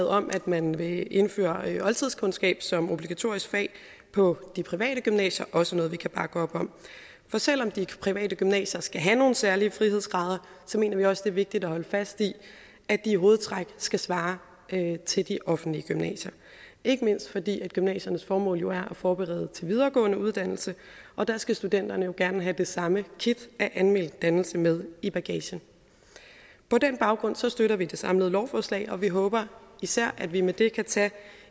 om at man vil indføre oldtidskundskab som obligatorisk fag på de private gymnasier også noget vi kan bakke op om for selv om de private gymnasier skal have nogle særlige frihedsgrader mener vi også det er vigtigt at holde fast i at de i hovedtræk skal svare til de offentlige gymnasier ikke mindst fordi gymnasiernes formål jo er at forberede til videregående uddannelse og der skal studenterne jo gerne have det samme kit af almen dannelse med i bagagen på den baggrund støtter vi det samlede lovforslag og vi håber især at vi med det kan tage